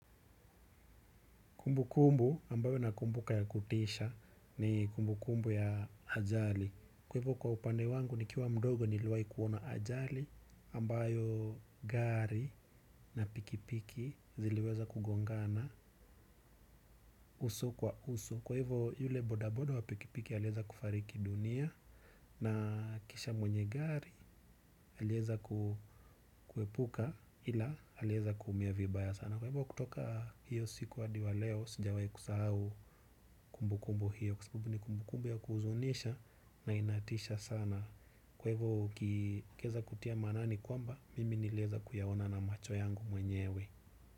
Kumbukumbu ambayo nakumbuka ya kutisha ni kumbukumbu ya ajali. Kwa hivo kwa upande wangu ni kiwa mdogo niliwahi kuona ajali, ambayo gari na pikipiki, ziliweza kugongana uso kwa uso. Kwa hivo yule bodaboda wa pikipiki alieza kufariki dunia, na kisha mwenye gari alieza. Kuepuka ila alieza kuumia vibaya sana. Na kwa hivyo kutoka hiyo siku hadi wa leo, sijawai kusahau kumbukumbu hiyo, kwa sababu ni kumbukumbu ya kuhuzunisha na inatisha sana. Kwa hivyo ukiweza kutia maanani kwamba mimi niliweza kuyaona na macho yangu mwenyewe.